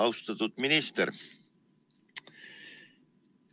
Austatud minister!